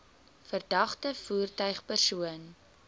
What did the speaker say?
verdagte voertuig persoon